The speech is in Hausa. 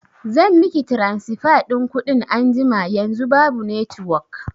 zan miki tiransifa ɗin kuɗin anjima, yanzu babu netiwok